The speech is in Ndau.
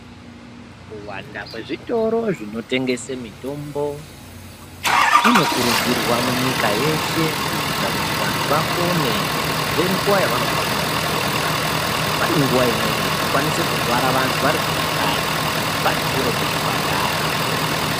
Kuwanda kwezvitoro zvinotengesa mitombo kuno kurudzirwa munyika yeshe kuitira kuti vantu vapone ngenguwa yavanofanira kupona pane nguwa imweni inokwanisa kurwara vantu vari kumakanyi vari kure nezvipatara.